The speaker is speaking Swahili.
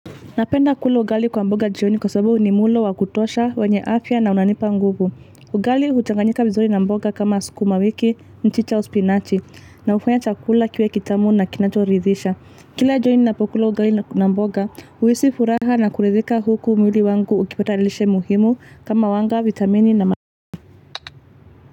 Napenda kula ugali kwa mboga jioni kwa sababu ni mlo wa kutosha, wenye afya na unanipa nguvu. Ugali huchanganyika vizuri na mboga kama skuma wiki, mchicha au spinachi, na hufanya chakula kiwe kitamu na kinachorithisha. Kila jioni napokula ugali na mboga, huhisi furaha na kuridhika huku mwili wangu ukipata lishe muhimu kama wanga, vitamini na ma.